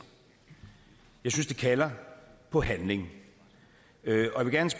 jeg synes det kalder på handling